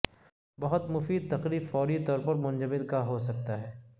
بہت مفید تقریب فوری طور پر منجمد گا ہو سکتا ہے